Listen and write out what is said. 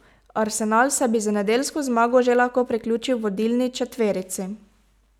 Arsenal se bi z nedeljsko zmago že lahko priključil vodilni četverici.